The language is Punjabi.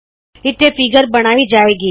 ਇੱਥੇ ਫੀਗਰ ਬਣਾਈ ਜਾਏਗੀ